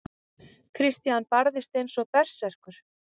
Christian barðist eins og berserkur.